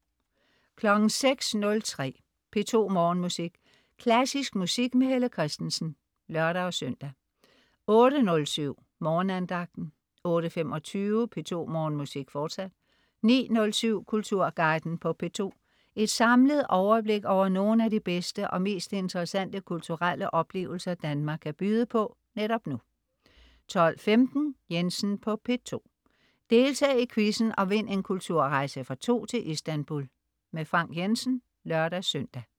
06.03 P2 Morgenmusik. Klassisk musik med Helle Kristensen (lør-søn) 08.07 Morgenandagten 08.25 P2 Morgenmusik, fortsat 09.07 Kulturguiden på P2. Et samlet overblik over nogle af de bedste og mest interessante kulturelle oplevelser Danmark kan byde på netop nu 12.15 Jensen på P2. Deltag i quizzen og vind en kulturrejse for to til Istanbul. Frank Jensen (lør-søn)